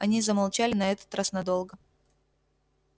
они замолчали на этот раз надолго